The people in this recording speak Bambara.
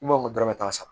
N b'a n ko dɔrɔmɛ tan sa